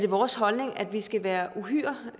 vores holdning at vi skal være uhyre